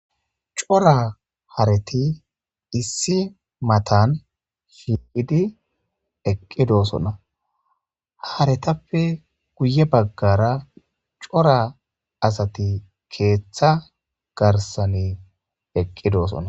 cora hareti issi matan shiiqidi eqqidosona haretappe guye baggara cora asati keeththa garsane eqqidoosona